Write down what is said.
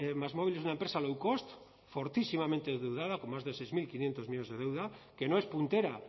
másmóvil es una empresa low cost fortísimamente endeuda con más de seis mil quinientos millónes de deuda que no es puntera